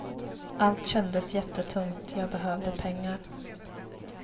Allt kändes jättetungt, jag behövde pengar.